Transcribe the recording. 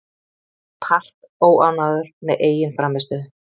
Park óánægður með eigin frammistöðu